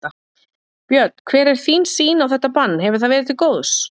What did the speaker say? Björn: Hver er þín sýn á þetta bann, hefur það verið til góðs?